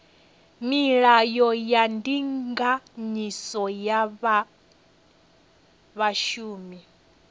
milayo ya ndinganyiso ya zwa vhashumi